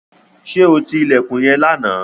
Ṣé ó ti ilẹ̀kùn yẹn lánàá?